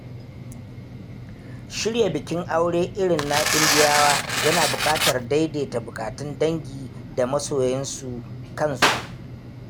Shirya bikin aure irin na Indiyawa yana buƙatar daidaita bukatun dangi da masoyan su kansu.